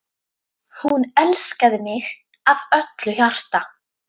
Hún elskaði mig af öllu hjarta.